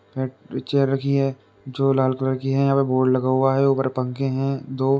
Chair रखी है जो लाल कलर की है। यहाँ पे बोर्ड लगा हुआ है। ऊपर पंखे हैं दो।